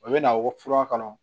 O bɛ na wɔ fura kɔnɔ